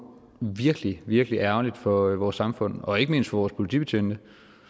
virkelig virkelig ærgerligt for vores samfund og ikke mindst for vores politibetjente